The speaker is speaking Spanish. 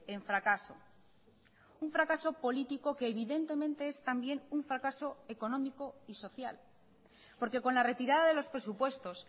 en fracaso un fracaso político que evidentemente es también un fracaso económico y social porque con la retirada de los presupuestos